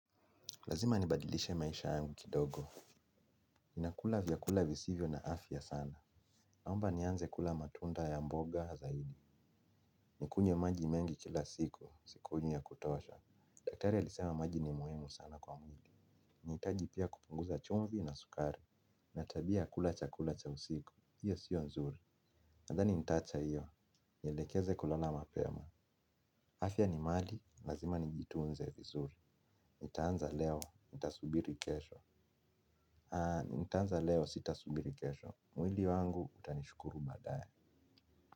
Lazima nibadilishe maisha yangu kidogo. Ninakula vyakula visivyo na afya sana. Naomba nianze kula matunda ya mboga zaidi. Nikunywe maji mengi kila siku, sikunywi ya kutosha. Daktari alisema maji ni muhimu sana kwa mwili. Naitaji pia kupunguza chumvi na sukari. Ninatabia ya kula chakula cha usiku. Hiyo sio nzuri. Nadhani nitaacha hiyo. Nielekeze kulala mapema. Afya ni mali. Lazima nijitunze vizuri. Nitaanza leo. Nitasubiri kesho. Nitaanza leo sita subiri kesho. Mwili wangu utanishukuru baadae.